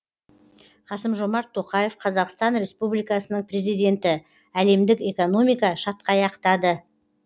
қасым жомарт тоқаев қазақстан республикасының президенті әлемдік экономика шатқаяқтады